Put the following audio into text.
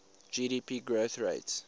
gdp growth rates